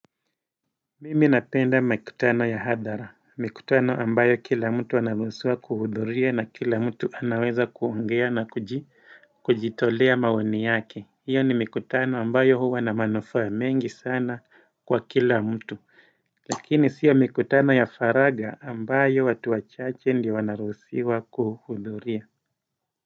Mimi napenda mikutano ya hadhara. Mikutano ambayo kila mtu anaruusiwa kuhudhuria na kila mtu anaweza kuongea na kujitolea maoni yake. Hiyo ni mikutano ambayo huwa na manufaa mengi sana kwa kila mtu. Lakini sio mikutano ya faragha ambayo watu wachache ndio wanaruhusiwa kuhudhuria.